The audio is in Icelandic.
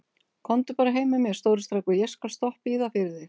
Komdu bara heim með mér, stóri strákur, ég skal stoppa í það fyrir þig.